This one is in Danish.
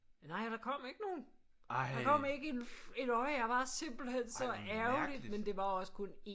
Nej og der kom ikke nogen der kom ikke en et øje jeg var simpelthen så ærgerlig men det var også kun 1